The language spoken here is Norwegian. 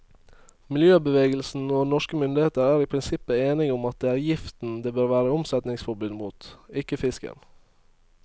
Miljøbevegelsen og norske myndigheter er i prinsippet enige om at det er giften det bør være omsetningsforbud mot, ikke fisken.